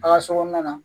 A ka so kɔnɔna na